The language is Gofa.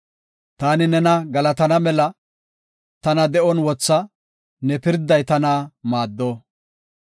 Taani nena galatana mela, tana de7on wotha; ne pirday tana maaddo.